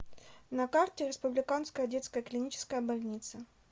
на карте республиканская детская клиническая больница